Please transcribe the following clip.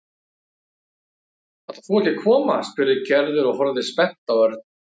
Ætlar þú ekki að koma? spurði Gerður og horfði spennt á Örn.